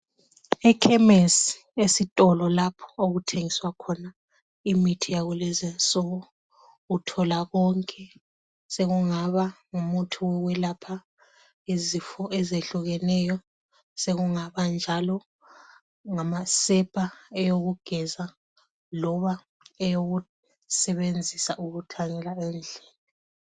Ekhemesi esitolo lapho okuthengiswa khona imithi yakulezinsuku uthola konke sokungaba ngumuthi wokwelapha izifo ezehlukeneyo sokungaba njalo ngamasepa eyokugeza loba eyokusebenzisa ukuthanyela endlini.